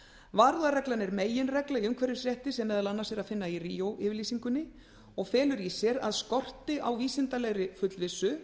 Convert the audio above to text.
varúðarreglan er meginregla í umhverfisrétti sem er meðal annars að finna í ríó yfirlýsingunni og felur í sér að skorti á vísindalegri fullvissu